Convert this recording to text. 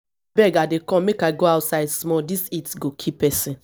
abeg i dey come make i go outside small dis heat go kill person